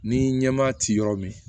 Ni ɲɛmaa ti yɔrɔ min